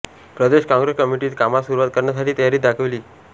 प्रदेश काँग्रेस कमिटीत कामास सुरुवात करण्याची तयारी दाखविली